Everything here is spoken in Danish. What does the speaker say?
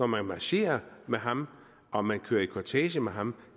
man marcherer med ham og man kører i kortege med ham